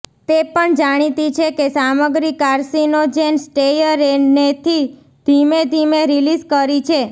તે પણ જાણીતી છે કે સામગ્રી કાર્સિનોજેન સ્ટેયરેને થી ધીમે ધીમે રીલીઝ કરી છે